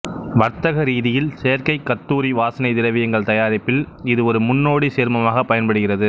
வர்த்தக ரீதியில் செயற்கை கத்தூரி வாசனை திரவியங்கள் தயாரிப்பில் இதுவொரு முன்னோடிச் சேர்மமாகப் பயன்படுகிறது